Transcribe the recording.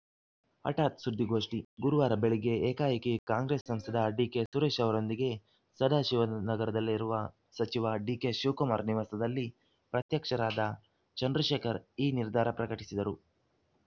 ಹಠಾತ್‌ ಸುದ್ದಿಗೋಷ್ಠಿ ಗುರುವಾರ ಬೆಳಗ್ಗೆ ಏಕಾಏಕಿ ಕಾಂಗ್ರೆಸ್‌ ಸಂಸದ ಡಿಕೆಸುರೇಶ್‌ ಅವರೊಂದಿಗೆ ಸದಾಶಿವನಗರದಲ್ಲಿರುವ ಸಚಿವ ಡಿಕೆಶಿವಕುಮಾರ್‌ ನಿವಾಸದಲ್ಲಿ ಪ್ರತ್ಯಕ್ಷರಾದ ಚಂದ್ರಶೇಖರ್‌ ಈ ನಿರ್ಧಾರ ಪ್ರಕಟಿಸಿದರು